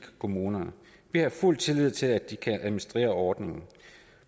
kommunerne vi har fuld tillid til at de kan administrere ordningen de